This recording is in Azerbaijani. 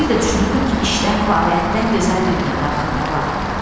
Bir də düşünürdüm ki, işdən, fəaliyyətdən gözəl dünyada axı nə var?